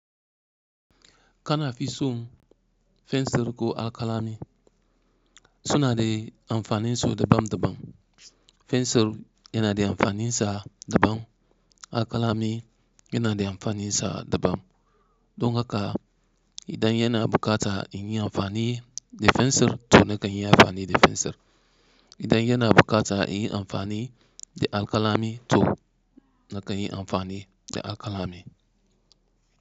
Kana fi son fensir ko alkalami? So na de amfani so dabam dabam. Fensir yana de amfani sa dabam, alkalami yana de amfani sa dabam. Don haka idan yana bukata in yi amfani da fensir to na kan yi amfani da fensir, idan yana bukata in yi amfani da alkalami to na kan yi amfani da alkalami.